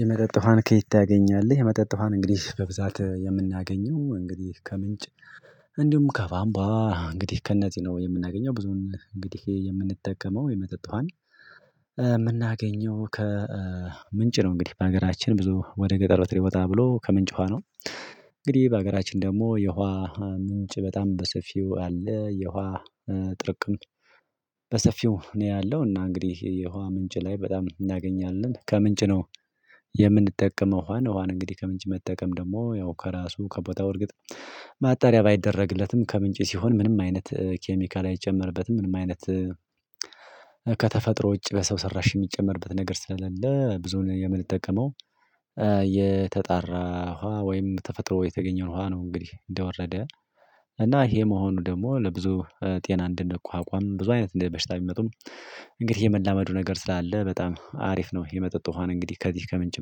የመጠጥ ውሃን ከየት? ታገኛለህ የመጠጥ ውሃን እንግዲህ በብዛት የምናገኘው እንግዲህ ከምንጭ። እንዲሁም ከቧንቧ እንግዲህ ከነዝህ የ ነው ምናገኘው ብዙውን እንግዲህ የምንጠቀመው የመጠጥን። የምናገኘው ከ ምንጭ ነው እንግዲህ በሀገራችን ብዙ ወደ ገጠር ወጥር ይወጣ ብሎ ከምንጭ ውሃ ነው። እንግዲህ በሀገራችን ደግሞ የውሃ ምንጭ በጣም በሰፊው አለ የውሃ ጥርቅም። እኔ ያለው እና እንግዲህ የውሃ ምንጭ ላይ በጣም እናገኛለን ከምንጭ ነው። የምንጠቀመው ውሃን እንግዲህ ከምንጭ መጠቀም ደግሞ ያው ከራሱ ከቦታው እርግጥ። ማጣሪያ ባይደረግለትም ከምንጭ ሲሆን ምንም አይነት ኬሚካል አይጨመርበትም ምንም አይነት። ከተፈጥሮ ውጪ በሰው ሰራሽ የሚጨመርበት ነገር ስለሌለ ብዙን የምንጠቀመው። የተጣራ ውሃ ወይም ተፈጥሮ የተገኘው ውሃ ነው እንግዲህ እንደወረደ። እና ይሄ መሆኑ ደግሞ ለብዙ ጤና እንደንቋቋም ብዙ አይነት እንደ በሽታ ብመጡም። እንግዲህ የመላመዱ ነገር ስላለ በጣም አሪፍ ነው። የመጠጥ ውሃን እንግዲህ ከዚህ ከምንጭ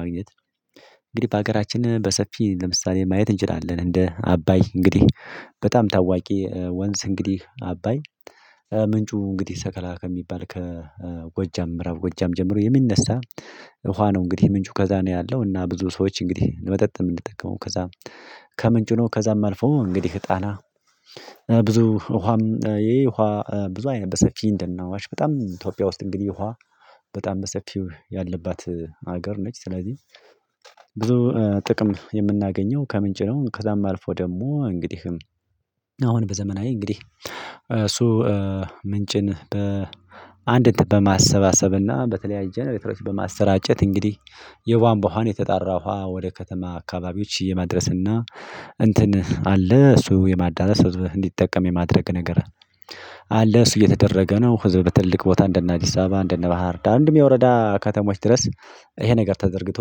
ማግኘት። እንግዲህ በሀገራችን በሰፊ ለምሳሌ ማየት እንችላለን እንደ አባይ እንግዲህ። በጣም ታዋቂ ወንዝ እንግዲህ አባይ። ምንጩ እንግዲህ ሰከላ ከሚባል ከጎጃም ምዕራብ ጎጃም ጀምሮ የሚነሳ። ውሃ ነው እንግዲህ ምንጩ ከዛ ነው ያለው እና ብዙ ሰዎች እንግዲህ መጠጥ የምንጠቀመው ከዛ። ከምንጩ ነው ከዛም አልፎ እንግዲህ ጣና። ብዙ ውሃም ይሄ ውሃ ብዙ አይነት በሰፊ እንደነ አዋሽ በጣም ኢትዮጵያ ውስጥ እንግዲህ ውሃ በጣም በሰፊው ያለባት ሀገር ነች ስለዚህ። ብዙ ጥቅም የምናገኘው ከምንጭ ነው ከዛም አልፎ ደግሞ እንግዲህም። አሁን በዘመናዊ እንግዲህ እሱ ምንጭን በአንድ በማሰባሰብና በተለያየ ነገሮች በማሰራጨት እንግዲህ። የቧንቧ ውሃን የተጠራ ውሃ ወደ ከተማ አካባቢዎች የማድረስና። እንትን አለ እሱ የማዳረስ ህዝብ እንዲጠቀም የማድረግ ነገር አናለይስ እየተደረገ ነው። ህዝብ በትልቅ ቦታ እንደነ አዲስ አበባ እንደነ ባህር ዳር እንድሁም ወረዳ ከተማዎች ድረስ። ይሄ ነገር ተዘርግቶ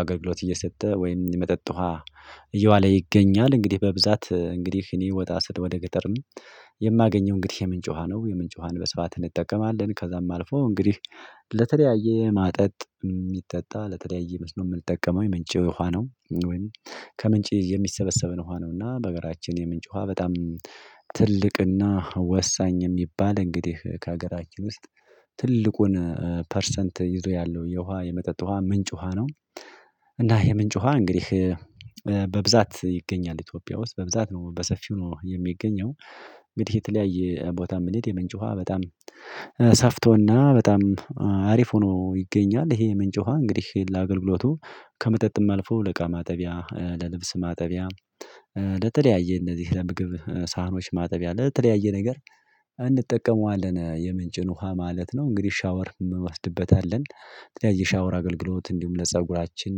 አገልግሎት እየሰጠ ወይም የመጠጥ ውሃ እየዋለ ይገኛል። እንግዲህ በብዛት እንግዲህ እኔ ወጣ ስል ወደ ገጠርም። የማገኘው እንግዲህ የምንጭ ውሃ ነው። የምንጭ ውሃን በስፋት እንጠቀማለን ከዛም አልፎ እንግዲህ። ለተለያየ ማጠጥ የሚጠጣ ለተለያየ መስኖ የምትጠቀመው የምንጭ የውሃ ነው ወይም። ከምንጭ የሚሰበሰብን ውሃ ነው። እና በሀገራችን የምንጭ ውሃ በጣም ትልቅና ወሳኝ የሚባል እንግዲህ ከሀገራችን ውስጥ። ትልቁን ፐርሰንት ይዞ ያለው የውሃ የመጠጥ ውሃ ምንጭ ውሃ ነው። እና የምንጭ ውሃ እንግዲህ። በብዛት ይገኛል ኢትዮጵያ ውስጥ በብዛት ነው በሰፊው ነው የሚገኘው። እንግዲህ የተለያየ ቦታ ብንሄድ የምንጭ ውሃ በጣም ሰፍቶና በጣም አሪፍ ሆኖ ይገኛል። ይሄ ምንጭ ውሃ እንግዲህ ለአገልግሎቱ ከመጠጥም አልፎ ለእቃ ማጠቢያ ለልብስ ማጠቢያ። ለተለያየ እነዚህ ለምግብ ሳህኖች ማጠቢያ ለተለያየ ነገር። እንጠቀመዋለን የምንጭን ውሃ ማለት ነው እንግዲህ ሻወር እንወስድበታለን። የተለያየ ሻወር አገልግሎት እንዲሁም ለፀጉራችን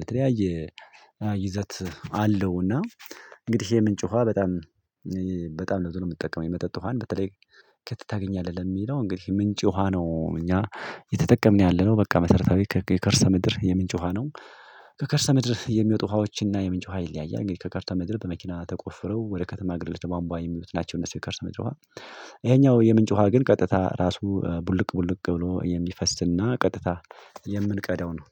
የተለያየ ይዘት አለውና። እንግዲህ የምንጭ ውሃ በጣም በጣም ለብዙ ነው የምትጠቀመው የመጠጥ ውሃን በተለይ። ከየት? ታገኛለህ ለሚለው እንግዲህ ምንጭ ውሃ ነው። እኛ የተጠቅምን ያለነው በቃ መሰረታዊ ከከርሰ ምድር የምንጭ ውሃ ነው። ከከርሰ ምድር የሚወጡ ውሃዎችን እና የምንጭ ውሃ ይለያያል እንግዲህ ከከርሰ ምድር በመኪና ተቆፍረው ወደ ከተማ አገልግሎት በቧንቧ የሚሉት ናቸው እነሱ የከርሰ ምድር ውሃ። ይሄኛው የምንጭ ውሃ ግን ቀጥታ ራሱ ቡልቅ ቡልቅ ብሎ የሚፈስና ቀጥታ የምንቀደው ነው